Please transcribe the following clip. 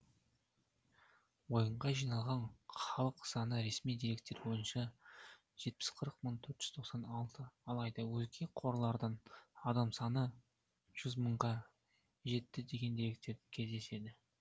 ойынға жиналған халық саны ресми деректер бойынша жетпіс төрт мың төрт жүз тоқсан алты алайда өзге қорлардан адам саны жүз мыңға жетті деген деректерде кездеседі